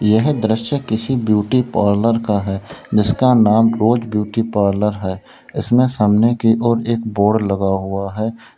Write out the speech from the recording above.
यह दृश्य किसी ब्यूटी पार्लर का है जिसका नाम रोज ब्यूटी पार्लर है इसमें सामने की ओर एक बोर्ड लगा हुआ है।